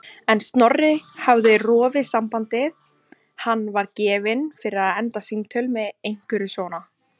En Snorri hafði rofið sambandið, hann var gefinn fyrir að enda símtöl með einhverju svona.